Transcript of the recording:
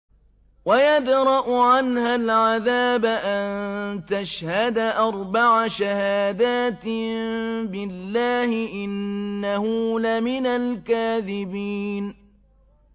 وَيَدْرَأُ عَنْهَا الْعَذَابَ أَن تَشْهَدَ أَرْبَعَ شَهَادَاتٍ بِاللَّهِ ۙ إِنَّهُ لَمِنَ الْكَاذِبِينَ